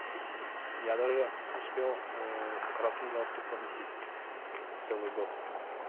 я даже успел красный галстук поносить целый год